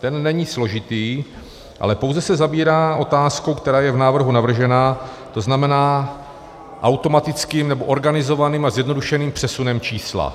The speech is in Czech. Ten není složitý, ale pouze se zabírá otázkou, která je v návrhu navržena, to znamená automatickým nebo organizovaným a zjednodušeným přesunem čísla.